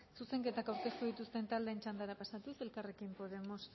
zuzenketak aurkeztu dituzten taldeen txandara pasatuz elkarrekin podemos